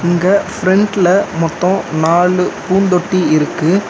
இங்க ஃபிரெண்ட்ல மொத்தோ நாலு பூந்தொட்டி இருக்கு.